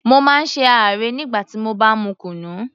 Mo má ń ṣe àárẹ̀ nígbà tí mo bá mu kunu